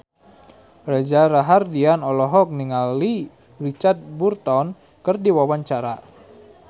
Reza Rahardian olohok ningali Richard Burton keur diwawancara